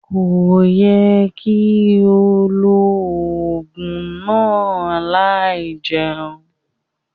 Ko ye ki o lo ogun naa lai jeun.